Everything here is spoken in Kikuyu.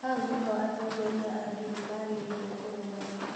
hau nĩho atongoria a ndini maagĩrĩirwo kũrũgama